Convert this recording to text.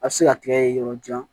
A bɛ se ka tigɛ yɔrɔ jan